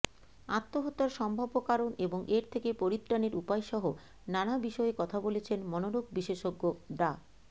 আত্মহত্যার সম্ভাব্য কারণ এবং এর থেকে পরিত্রাণের উপায়সহ নানা বিষয়ে কথা বলেছেন মনোরোগ বিশেষজ্ঞ ডা